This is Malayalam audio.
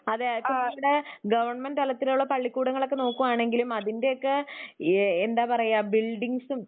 അതെ ഇവിടെ ഗവണ്മെന്റ് തലത്തിലുള്ള പള്ളിക്കുടങ്ങളൊക്കെ നോക്കുവാണെങ്കിലും അതിന്റെയൊക്കെ എന്താ പറയുക ബിൽഡിങ്ങ്സും